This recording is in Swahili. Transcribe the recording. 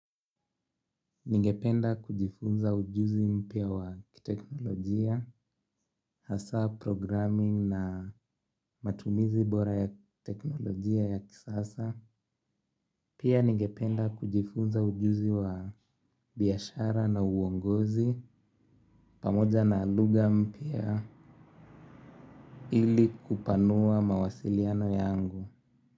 Ningependa kujifunza ujuzi mpya wa kiteknolojia, hasa programming na matumizi bora ya teknolojia ya kisasa. Pia ningependa kujifunza ujuzi wa biashara na uongozi pamoja na lugha mpya ili kupanua mawasiliano yangu.